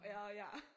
Og jeg ja